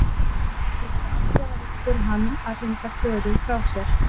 Það getur verið afdrifaríkt fyrir hann að hrinda Klöru frá sér.